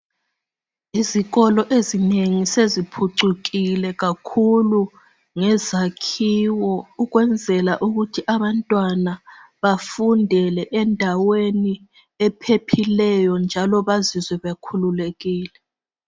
Izikolo ezinengi seziphucukile kakhulu ngezakhiwo ukwenzela ukuthi abantwana bafundele endaweni ephephileyo njalo bazizwe bekhululekile